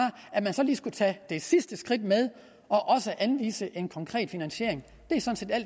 man så lige skulle tage det sidste skridt med og også anvise en konkret finansiering